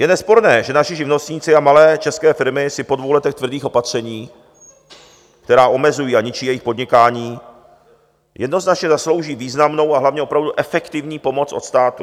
Je nesporné, že naši živnostníci a malé české firmy si po dvou letech tvrdých opatření, která omezují a ničí jejich podnikání, jednoznačně zaslouží významnou a hlavně opravdu efektivní pomoc od státu.